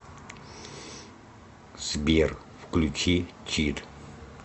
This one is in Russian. сбер включи чит